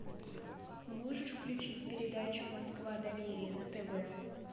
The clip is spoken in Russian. можешь включить передачу москва доверие на тв